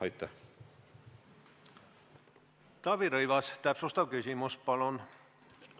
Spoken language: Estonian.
Taavi Rõivas, täpsustav küsimus, palun!